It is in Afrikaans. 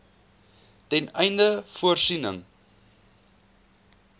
ten einde voorsiening